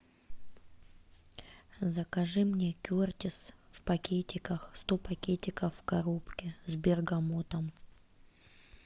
закажи мне кертис в пакетиках сто пакетиков в коробке с бергамотом